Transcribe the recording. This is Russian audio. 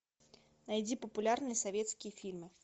найди популярные советские фильмы